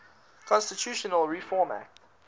constitutional reform act